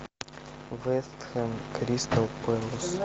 вестхэм кристал пэлас